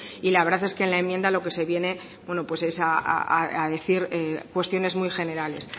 y la verdad es que la enmienda lo que se viene es a decir cuestiones muy generales